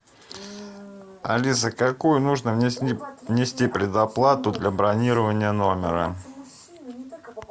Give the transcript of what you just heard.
алиса какую нужно внести предоплату для бронирования номера